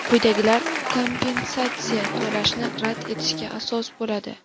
Quyidagilar kompensatsiya to‘lashni rad etishga asos bo‘ladi:.